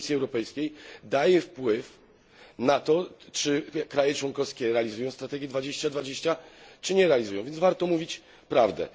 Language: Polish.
Komisji Europejskiej daje wpływ na to, czy kraje członkowskie realizują strategię 2020 czy nie, więc warto mówić prawdę.